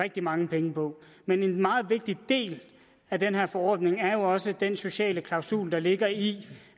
rigtig mange penge på men en meget vigtig del af den her forordning er jo også den sociale klausul der ligger i